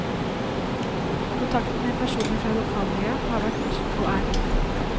Kontakten med personer fra lokalmiljøet har vært, og er, god.